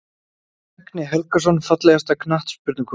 Högni Helgason Fallegasta knattspyrnukonan?